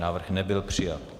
Návrh nebyl přijat.